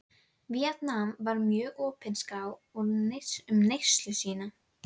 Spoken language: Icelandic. Víetnam og var mjög opinskár um reynslu sína.